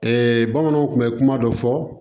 bamananw tun bɛ kuma dɔ fɔ